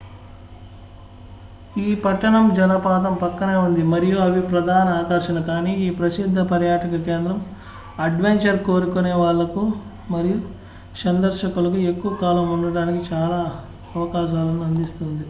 ఈ పట్టణం జలపాతం పక్కనే ఉంది మరియు అవి ప్రధాన ఆకర్షణ కానీ ఈ ప్రసిద్ధ పర్యాటక కేంద్రం అడ్వెంచర్ కోరుకునే వాళ్లకు మరియు సందర్శకులకు ఎక్కువ కాలం ఉండటానికి చాలా అవకాశాలను అందిస్తుంది